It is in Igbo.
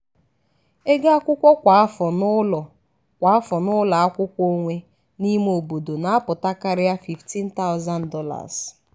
ego agụmakwụkwọ kwa afọ n'ụlọ kwa afọ n'ụlọ akwụkwọ onwe n'ime obodo na-apụta karịa $15000.